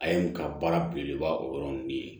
A ye u ka baara belebeleba o yɔrɔ ninnu ye